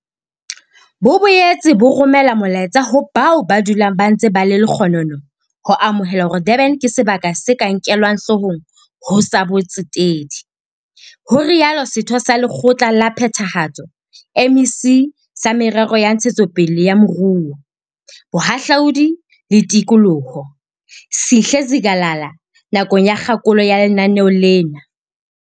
Bo boetse bo romela molaetsa ho bao ba dulang ba ntse ba le lekgonono ho amohela hore Durban ke sebaka se ka nkelwang hloohong ho tsa botsetedi. Ho itsalo Setho sa Lekgotla la Phethahatso MEC sa Merero ya Ntshetsopele ya Moruo, Bohahlaudi le Tikoloho, Sihle Zikalala nakong ya kgakolo ya lenaneo lena.